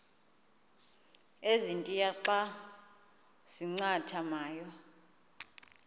ezintia xa zincathamayo